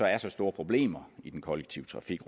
er så store problemer i den kollektive trafik